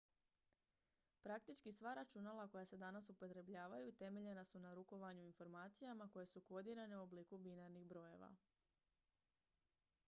praktički sva računala koja se danas upotrebljavaju temeljena su na rukovanju informacijama koje su kodirane u obliku binarnih brojeva